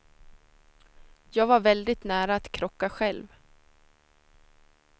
Jag var väldigt nära att krocka själv.